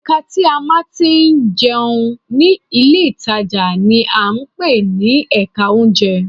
Ẹ̀ka tí a ti máa ń jẹun ní ilé ìtajà ni à ń pè ní Ẹ̀ka oúnjẹ